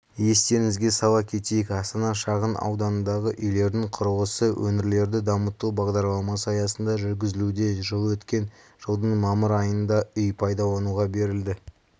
естеріңізге сала кетейік астана шағын ауданындағы үйлердің құрылысы өңірлерді дамыту бағдарламасы аясында жүргізілуде жылы өткен жылдың мамыр айында үй пайдалануға берілді